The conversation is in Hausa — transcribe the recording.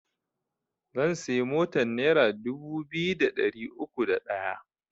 Zan siya motan nera dubu biyu da ɗari uku da ɗaya